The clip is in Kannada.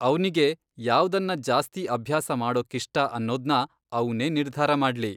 ಅವ್ನಿಗೆ ಯಾವ್ದನ್ನ ಜಾಸ್ತಿ ಅಭ್ಯಾಸ ಮಾಡೋಕ್ಕಿಷ್ಟ ಅನ್ನೋದ್ನ ಅವ್ನೇ ನಿರ್ಧಾರ ಮಾಡ್ಲಿ.